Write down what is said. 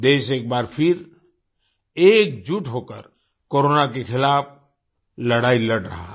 देश एक बार फिर एकजुट होकर कोरोना के खिलाफ़ लड़ाई लड़ रहा है